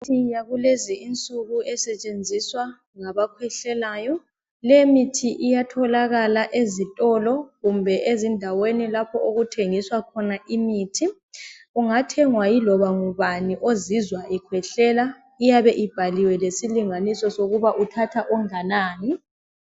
Kulomuthi kulezinsuku osetshenziswa ngabakhwehlelayo leyomithi itatholakala ezitolo kumbe ezindaweni lapho okuthengiswa khona imithi ungathengwa yiloba ngubani ozizwa ekhwehlela iyabe ibhaliwe lesilinganiso ukuba uthatha onganani